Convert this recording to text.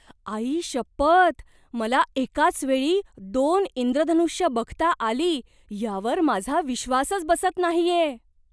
आईशपथ, मला एकाच वेळी दोन इंद्रधनुष्य बघता आली यावर माझा विश्वासच बसत नाहीये!